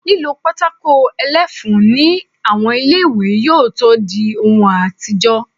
Lílo pátákó ẹlẹ́fun ní àwọn ilé-ìwé yóò tó dí ohun àtijọ́